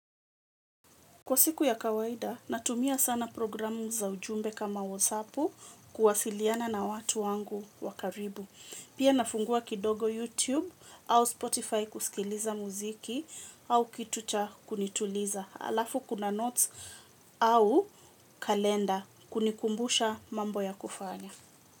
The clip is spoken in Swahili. Kwa siku ya kawaida natumia sana programu za ujumbe kama wasapu kuwasiliana na watu wangu wa karibu. Pia nafungua kidogo YouTube au Spotify kusikiliza muziki au kitu cha kunituliza. Alafu kuna notes au kalenda kunikumbusha mambo ya kufanya.